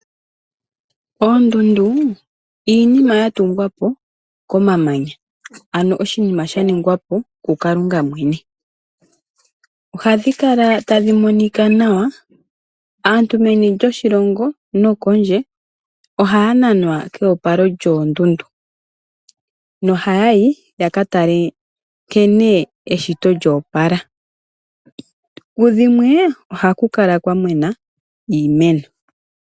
Oondundu iinima ya tungwa po komamanya ano oshinima sha ningwa po kuKalunga mwene, ohadhi kala tadhi monika nawa, aantu meni lyoshilongo nokondje ohaya nanwa keopalo lyoondundu nohaya yi ya ka tale nkene eshito lyoopala. Ku dhimwe ohaku kala kwa mena iimeno.